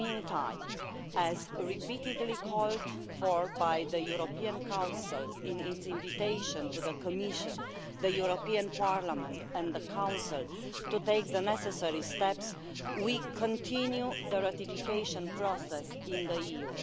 In the meantime, as repeatedly called for by the European Council in its invitation to the Commission, the European Parliament and the Council to take the necessary steps, we are continuing the ratification process in the EU.